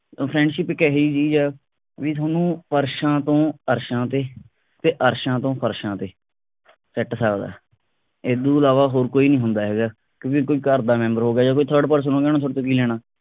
ਤਾਂ friendship ਇਕ ਇਹੀ ਜੀ ਚੀਜ ਆ ਬਈ ਤੁਹਾਨੂੰ ਫਰਸ਼ਾਂ ਤੋਂ ਅਰਸ਼ਾਂ ਤੇ ਤੇ ਅਰਸ਼ਾਂ ਤੋਂ ਫਰਸ਼ਾਂ ਤੇ ਸੁੱਟ ਸਕਦਾ ਇਦੋ ਇਲਾਵਾ ਹੋਰ ਕੋਈ ਨਹੀਂ ਹੁੰਦਾ ਇਹੋ ਜਾ ਕਿਉਕਿ ਕੋਈ ਘਰ ਦਾ ਮੈਂਬਰ ਹੋ ਗਿਆ ਜਾਂ ਕੋਈ third person ਉਹਨੇ ਤੁਹਾਡੇ ਤੋਂ ਕੀ ਲੈਣਾ